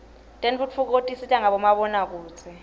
tentfutfuko tisita ngabomabonakudze